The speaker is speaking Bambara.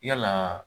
Yalaa